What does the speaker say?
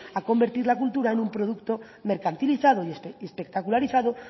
a convertir la cultura en un producto mercantilizado y espectacularizado